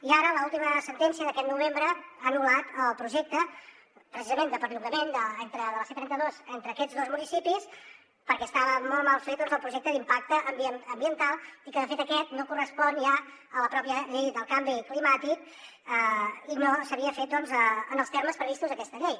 i ara l’última sentència d’aquest novembre ha anul·lat el projecte precisament de perllongament de la c trenta dos entre aquests dos municipis perquè estava molt mal fet el projecte d’impacte ambiental i que de fet aquest no correspon ja a la pròpia llei del canvi climàtic i no s’havia fet en els termes previstos a aquesta llei